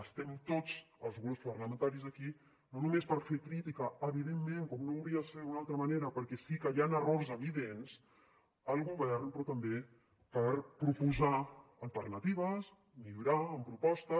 estem tots els grups parlamentaris aquí no només per fer crítica evidentment com no hauria de ser d’una altra manera perquè sí que hi han errors evidents al govern però també per proposar alternatives millorar amb propostes